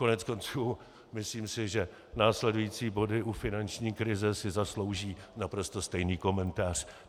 Koneckonců myslím si, že následující body u finanční krize si zaslouží naprosto stejný komentář.